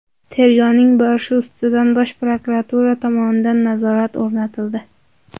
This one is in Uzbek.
Tergovning borishi ustidan Bosh prokuratura tomonidan nazorat o‘rnatildi.